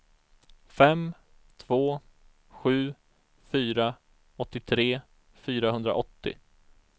fem två sju fyra åttiotre fyrahundraåttio